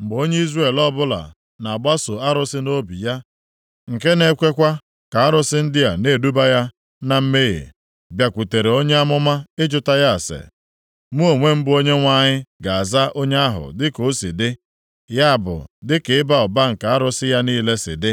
Mgbe onye Izrel ọbụla na-agbaso arụsị nʼobi ya, nke na-ekwekwa ka arụsị ndị a na-eduba ya na mmehie, bịakwutere onye amụma ịjụta ya ase, mụ onwe m bụ Onyenwe anyị ga-aza onye ahụ dịka o si dị, ya bụ dịka ịba ụba nke arụsị ya niile si dị.